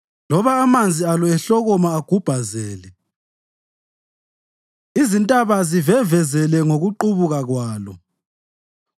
loba amanzi alo ehlokoma agubhazele izintaba zivevezele ngokuqubuka kwalo.